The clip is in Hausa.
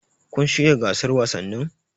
Kun shiryawa gasar wasannin?